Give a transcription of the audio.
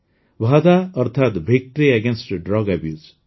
ଭାଦା ଅର୍ଥାତ victory against drugs abuse